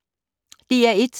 DR1